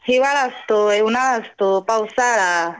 हिवाळा असतोय, उन्हाळा असतो, पावसाळा.